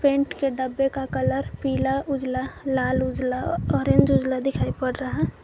Paint के डब्बे का कलर पीला उजाला लाल उजाला ऑरेंज उजाला दिखाई पड़ रहा है।